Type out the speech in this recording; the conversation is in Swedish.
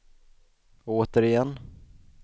återigen